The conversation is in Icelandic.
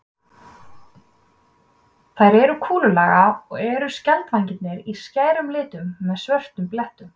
Þær eru kúlulaga og eru skjaldvængirnir í skærum litum með svörtum blettum.